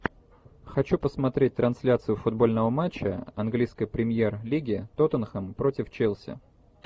хочу посмотреть трансляцию футбольного матча английской премьер лиги тоттенхэм против челси